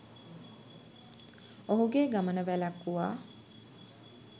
ඔහුගේ ගමන වැළැක්වුවා.